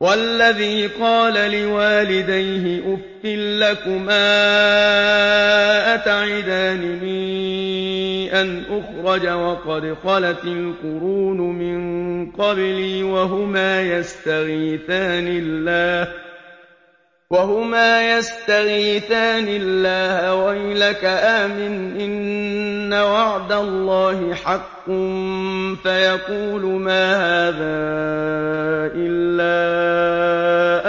وَالَّذِي قَالَ لِوَالِدَيْهِ أُفٍّ لَّكُمَا أَتَعِدَانِنِي أَنْ أُخْرَجَ وَقَدْ خَلَتِ الْقُرُونُ مِن قَبْلِي وَهُمَا يَسْتَغِيثَانِ اللَّهَ وَيْلَكَ آمِنْ إِنَّ وَعْدَ اللَّهِ حَقٌّ فَيَقُولُ مَا هَٰذَا إِلَّا